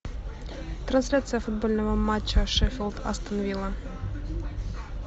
трансляция футбольного матча шеффилд астон вилла